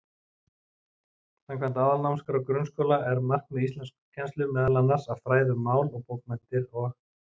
Samkvæmt Aðalnámskrá grunnskóla er markmið íslenskukennslu meðal annars að fræða um mál og bókmenntir og.